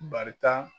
Barika